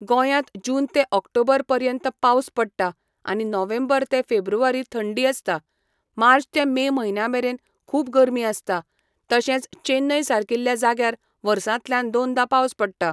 गोंयांत जून ते ऑक्टोबर पर्यंत पावस पडटा आनी नोव्हेंबर ते फेब्रुवारी थंडी आसता. मार्च ते मे म्हयन्या मेरेन खूब गरमी आसता. तशेंच चेन्नय सारकिल्या जाग्यार वर्सांतल्यान दोनदा पावस पडटा.